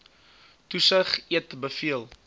toesig eet beveel